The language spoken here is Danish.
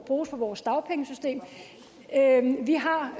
bruges på vores dagpengesystem vi har